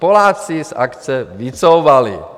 Poláci z akce vycouvali.